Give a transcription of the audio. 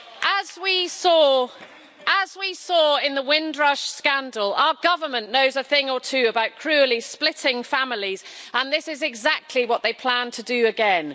As we saw in the Windrush scandal, our government knows a thing or two about cruelly splitting families and this is exactly what they plan to do again.